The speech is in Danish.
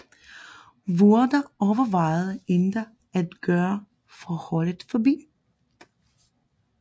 Vurdah overvejede endda at gøre forholdet forbi